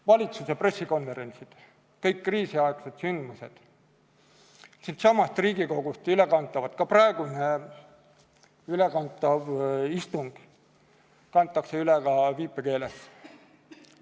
Valitsuse pressikonverentsid, kõik kriisiaegsed sündmused, siitsamast Riigikogust ülekantavad istungid, ka praegu ülekantav istung kantakse üle ka viipekeeles.